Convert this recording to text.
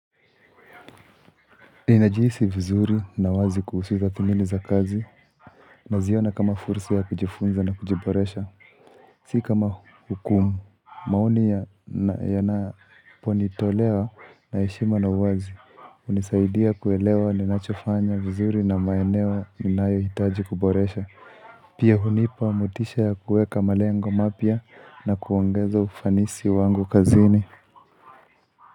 Inajiisi vizuri na wazi kuhusu hizo thamini za kazi na ziona kama furs ya kujifunza na kujiboresha Si kama hukumu, maoni ya naponitolewa na heshima na uwazi hunisaidia kuelewa ni nachofanya vizuri na maeneo ninayo hitaji kuboresha Pia hunipa motisha ya kuweka malengo mapya na kuongeza ufanisi wangu kazini.